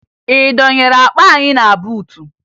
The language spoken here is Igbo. Ị dọnyere akpa anyị na buutu?